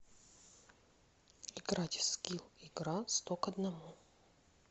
играть в скилл игра сто к одному